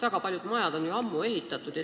Väga paljud majad on ju ammu ehitatud.